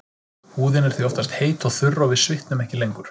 Húðin er því oftast heit og þurr og við svitnum ekki lengur.